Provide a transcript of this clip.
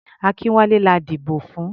Akínwálé la dìbò fún.